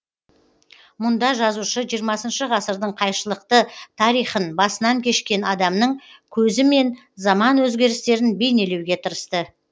мұнда жазушы жиырмасыншы ғасырдың қайшылықты тарихын басынан кешкен адамның көзімен заман өзгерістерін бейнелеуге тырысты